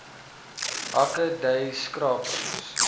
hake dui skrappings